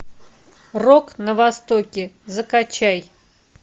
рок на востоке закачай